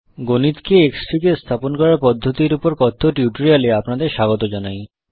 গণিতকে Xfig এ স্থাপন করার পদ্ধতির উপর কথ্য টিউটোরিয়াল এ আপনাদের স্বাগত জানাই